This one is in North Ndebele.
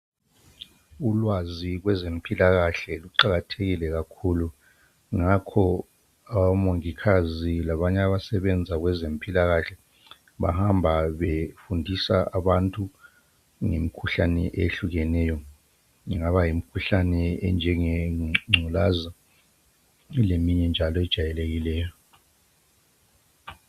Ulwazi kwezempilakahle luqakathekile kakhulu, ngakho omongikazi labanye abasebenza kwezempilakahle bahamba befundisa abantu ngemkhuhlane ehlukeneyo, ingaba yimkhuhlane enjengengculazi leminye njalo ejayelekileyo.